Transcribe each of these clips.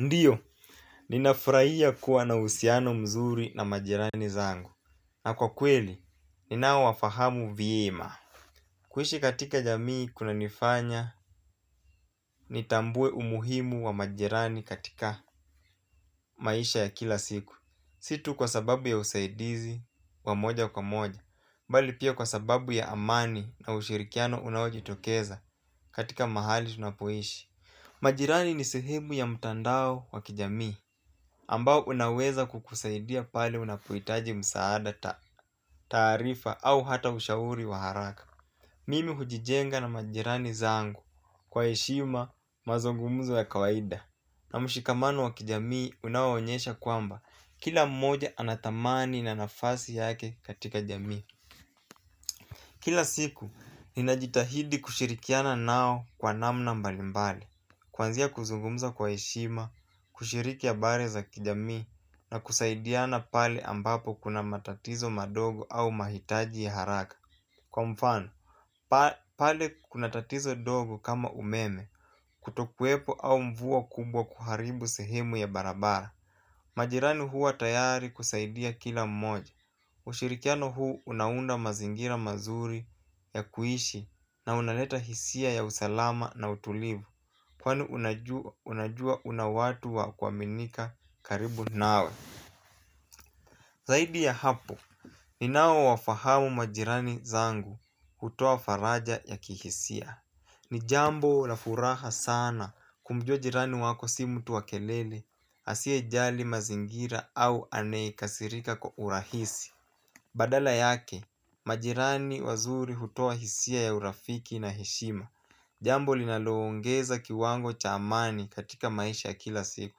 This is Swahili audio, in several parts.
Ndiyo, ninafurahia kuwa na uhusiano mzuri na majirani zangu na kwa kweli, ninaowafahamu vyema. Kuishi katika jamii kunanifanya nitambue umuhimu wa majirani katika maisha ya kila siku. Si tu kwa sababu ya usaidizi wa moja kwa moja bali pia kwa sababu ya amani na ushirikiano unaojitokeza katika mahali tunapoishi. Majirani ni sehemu ya mtandao wa kijamii ambao unaweza kukusaidia pale unapohitaji msaada taarifa au hata ushauri wa haraka. Mimi hujijenga na majirani zangu kwa heshima mazungumzo ya kawaida. Na mshikamano wa kijamii unaowaonyesha kwamba kila mmoja ana thamani na nafasi yake katika jamii. Kila siku ninajitahidi kushirikiana nao kwa namna mbalimbali. Kuanzia kuzungumza kwa heshima, kushiriki habari za kijamii na kusaidiana pale ambapo kuna matatizo madogo au mahitaji ya haraka. Kwa mfano, pale kuna tatizo ndogo kama umeme, kutokuwepo au mvua kubwa kuharibu sehemu ya barabara. Majirani huwa tayari kusaidia kila mmoja, ushirikiano huu unaunda mazingira mazuri ya kuishi na unaleta hisia ya usalama na utulivu. Kwani unajua una watu wa kuaminika karibu nawe. Zaidi ya hapo. Ninaowafahamu majirani zangu hutoa faraja ya kihisia. Ni jambo la furaha sana. Kumjua jirani wako si mtu wa kelele asiyejali mazingira au anayekasirika kwa urahisi. Badala yake. Majirani wazuri hutoa hisia ya urafiki na heshima. Jambo linaloongeza kiwango cha amani katika maisha ya kila siku.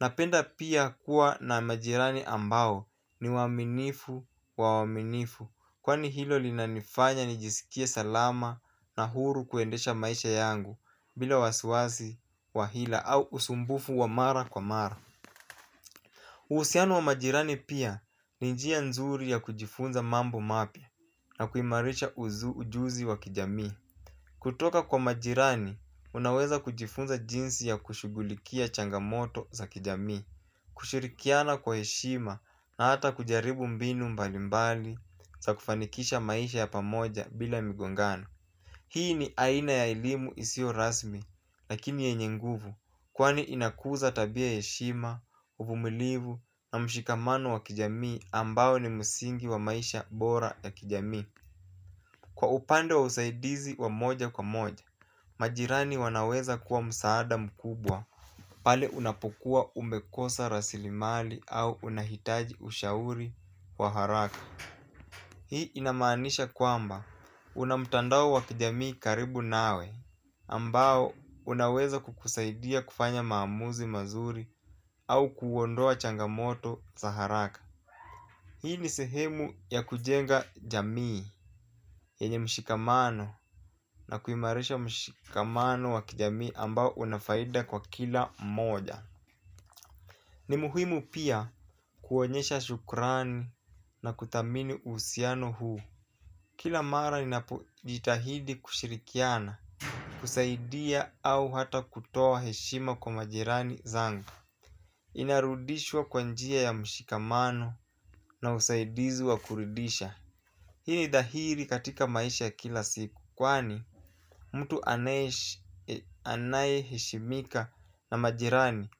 Napenda pia kuwa na majirani ambao ni waaminifu wa waaminifu. Kwani hilo linanifanya nijisikie salama na huru kuendesha maisha yangu bila wasiwasi wa hila au usumbufu wa mara kwa mara uhusiano wa majirani pia ni njia nzuri ya kujifunza mambo mapya na kuimarisha ujuzi wa kijamii. Kutoka kwa majirani, unaweza kujifunza jinsi ya kushugulikia changamoto za kijami. Kushirikiana kwa heshima na hata kujaribu mbinu mbalimbali za kufanikisha maisha ya pamoja bila migongano. Hii ni aina ya elimu isiyo rasmi lakini yenye nguvu kwani inakuza tabia heshima, uvumilivu na mshikamano wa kijamii ambao ni msingi wa maisha bora ya kijamii. Kwa upande wa usaidizi wa moja kwa moja, majirani wanaweza kuwa msaada mkubwa pale unapokuwa umekosa rasilimali au unahitaji ushauri wa haraka. Hii inamaanisha kwamba unamtandao wa kijamii karibu nawe ambao unaweza kukusaidia kufanya maamuzi mazuri au kuondoa changamoto za haraka. Hii ni sehemu ya kujenga jamii, yenye mshikamano na kuimarisha mshikamano wa kijamii ambao una faida kwa kila mmoja. Ni muhimu pia kuonyesha shukurani na kuthamini uhusiano huu. Kila mara inapojitahidi kushirikiana, kusaidia au hata kutoa heshima kwa majirani zangu. Inarudishwa kwa njia ya mshikamano na usaidizi wa kuridisha. Hini dhahiri katika maisha kila siku kwani mtu anayeheshimika na majirani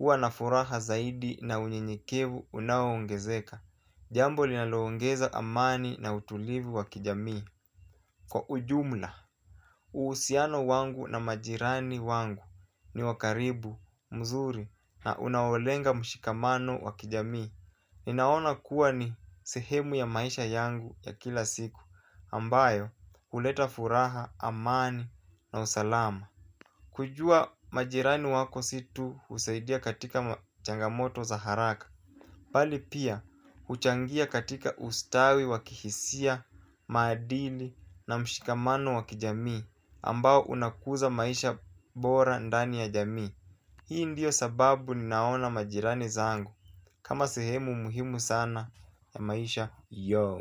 uanafuraha zaidi na unyenyekevu unao ongezeka. Jambo linalo ingeza amani na utulivu wa kijamii kwa ujumla. Uusiano wangu na majirani wangu ni wakaribu, mzuri na unaolenga mshikamano wa kijamii. Ninaona kuwa ni sehemu ya maisha yangu ya kila siku ambayo huleta furaha, amani na usalama. Kujua majirani wako si tu husaidia katika changamoto za haraka. Bali pia huchangia katika ustawi wa kihisia, maadili na mshikamano wa kijamii ambao unakuza maisha bora ndani ya jamii. Hii ndiyo sababu ninaona majirani zangu kama sehemu muhimu sana ya maisha yo.